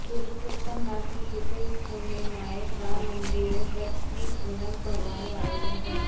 પુરૂષોતમ માસની શુકલ પુર્ણિમાએ રામમંદીરે વ્રતની પુનમ ભરવાનું આયોજન થશે